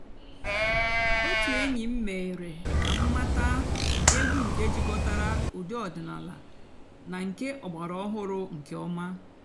ótú ènyí m mèéré kà m màtàà ègwú nkè jikòtàrà ụ́dị́ ọ̀dị́náàlà nà nkè ọ̀gbàràòhụ́rụ́ nkè ọ̀má.